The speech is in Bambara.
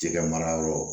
Jɛgɛ mara yɔrɔ